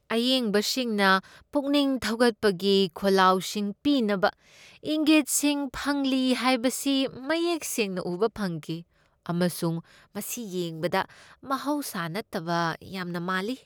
ꯑꯌꯦꯡꯕꯁꯤꯡꯅ ꯄꯨꯛꯅꯤꯡ ꯊꯧꯒꯠꯄꯒꯤ ꯈꯣꯜꯂꯥꯎꯁꯤꯡ ꯄꯤꯅꯕ ꯏꯪꯒꯤꯠꯁꯤꯡ ꯐꯪꯂꯤ ꯍꯥꯏꯕꯁꯤ ꯃꯌꯦꯛ ꯁꯦꯡꯅ ꯎꯕ ꯐꯪꯈꯤ ꯑꯃꯁꯨꯡ ꯃꯁꯤ ꯌꯦꯡꯕꯗ ꯃꯍꯧꯁꯥ ꯅꯠꯇꯕ ꯌꯥꯝꯅ ꯃꯥꯜꯂꯤ꯫